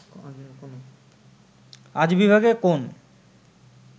আজ বিভাগে কোন